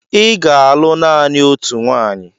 Ị ga-alụ naanị otu nwanyị!